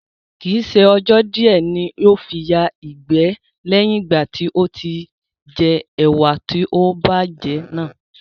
Kii ṣe ọjọ́ di ẹ ní ó fi yà ìgbẹ́ leyin ìgbà tó jẹ́ ẹwà tó ti bá jẹ́ náà